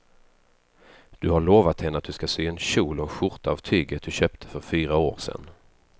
Du har lovat henne att du ska sy en kjol och skjorta av tyget du köpte för fyra år sedan.